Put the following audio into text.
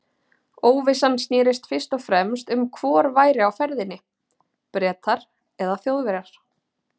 Óvissan snerist fyrst og fremst um hvor væri á ferðinni- Bretar eða Þjóðverjar.